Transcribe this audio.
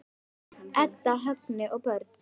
Edda, Högni og börn.